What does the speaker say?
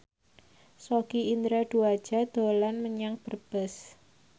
Sogi Indra Duaja dolan menyang Brebes